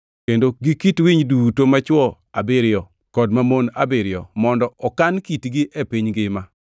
kendo gi kit winy duto machwo abiriyo kod mamon abiriyo mondo okan kitgi e piny ngima.